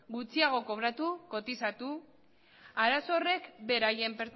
gutxiago kobratu kotizatu arazo horrek beraien